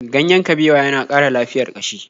Ganyen kabewa ya na ƙara lafiyar ƙashi.